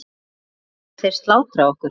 Annars hefðu þeir slátrað okkur.